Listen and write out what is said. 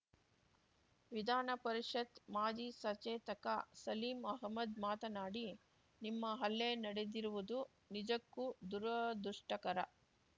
ವಿಧಾನಪರಿಷತ್ ಮಾಜಿ ಸಚೇತಕ ಸಲೀಂ ಅಹ್ಮದ್ ಮಾತನಾಡಿ ನಿಮ್ಮ ಹಲ್ಲೆ ನಡೆದಿರುವುದು ನಿಜಕ್ಕೂ ದುರದೃಷ್ಟಕರ